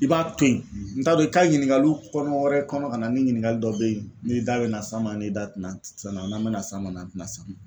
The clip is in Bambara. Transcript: I b'a to yen n t'a dɔn i ka ɲiningali kɔnɔ wɛrɛ kɔnɔ ka na ni ɲiningali dɔ be yen ni da be na s'a ma ni da te na se na n'an be na s'a ma an te na s'a ma